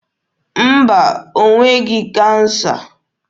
Mba, o nweghị kansa.